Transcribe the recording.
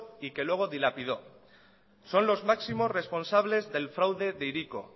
y que luego dilapidó son los máximos responsables del fraude de hiriko